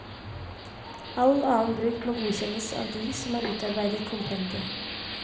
All annen bruk må godkjennes av de som har utarbeidet kompendiet.